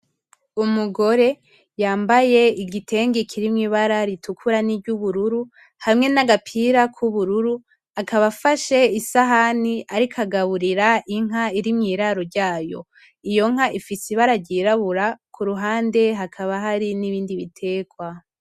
Umugore yambaye igitenge kirimwo ibara ritukura ni ryubururu hamwe nagapira ku bururu, akaba afashe isahani ariko agaburira inka iri mwiraro ryayo iyo. nka ifise ibara ryirabura kuruhande hakaba hari nibindi bitegwa.